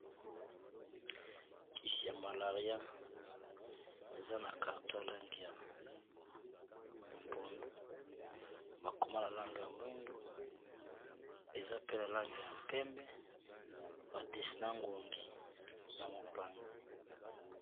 Kisi ya malaria eza na carton ya lange ya mpundu, bakoma na lange ya mwindu, eza pe na lange ya mpembe, badesina ngongi na mopanzi.